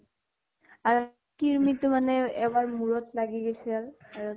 আৰু ক্ৰিমি তো মানে এবাৰ মোৰত লাগি গেছিল । আৰু